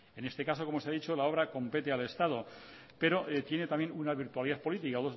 en este caso como se ha dicho la obra compete al estado pero tiene también una virtualidad política